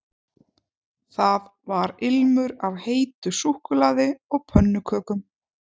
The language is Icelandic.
Það var ilmur af heitu súkkulaði og pönnukökum